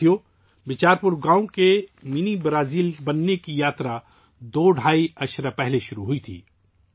ساتھیو ، بیچار پور گاؤں کا منی برازیل بننے کا سفر دو ڈھائی دہائیوں پہلے شروع ہوا تھا